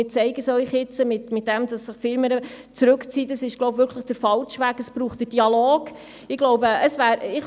Wir haben jetzt gehört, dass Sie sehr gut sprechen können, und das wissen wir auch.